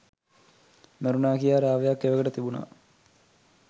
මැරුණා කියා රාවයක් එවකට තිබුණා